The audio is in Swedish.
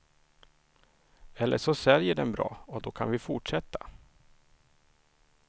Eller så säljer den bra, och då kan vi fortsätta.